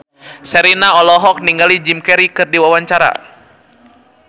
Sherina olohok ningali Jim Carey keur diwawancara